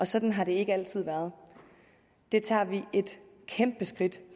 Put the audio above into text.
sådan har det ikke altid været det tager vi et kæmpe skridt